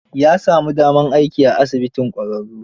Ya sami damar aiki ai asibitin ƙwararru.